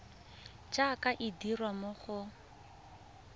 jaaka e dirwa mo go